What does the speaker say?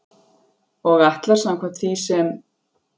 Og ætlar, samkvæmt því sem